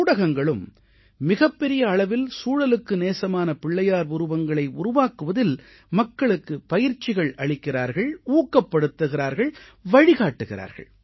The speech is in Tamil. ஊடகங்களும் மிகப்பெரிய அளவில் சூழலுக்கு நேசமான பிள்ளையார் உருவங்களை உருவாக்குவதில் மக்களுக்கு பயிற்சிகள் அளிக்கிறார்கள் ஊக்கப்படுத்துகிறார்கள் வழிகாட்டுகிறார்கள்